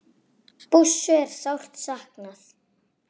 Bússu er sárt saknað.